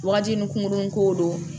Wagati ni kungokurunin ko don